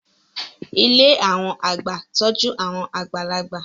Ilé àwọn àgbà ń tọ́jú àwọn àgbàlagbà